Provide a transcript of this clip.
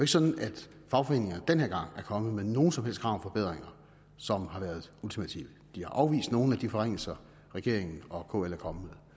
sådan at fagforeningerne den her gang er kommet med nogen som helst krav om forbedringer som har været ultimative de har afvist nogle af de forringelser regeringen og kl er kommet